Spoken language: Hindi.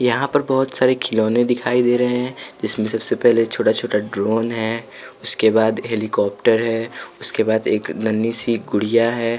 यहाँ पर बहुत सारे खिलौने दिखाई दे रहे हैं जिसमें सबसे पहले छोटा-छोटा ड्रोन है उसके बाद हेलीकॉप्टर है उसके बाद एक नन्ही सी गुड़िया है।